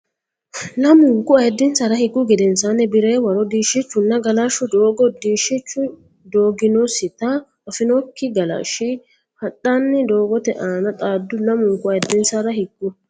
Lamunku ayiddinsara higgu gedensaanni Bi re waro diishshichunna galashshu doogo diishshichu doginosita afinokki galashshi hadhanni dogote aana xaaddu Lamunku ayiddinsara higgu.